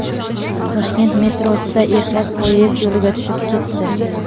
Toshkent metrosida erkak poyezd yo‘liga tushib ketdi.